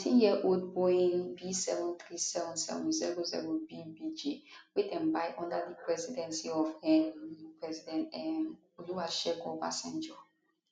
19yearold boeing b737700bbj wey dem buy under di presidency of um president um olusegun obasanjo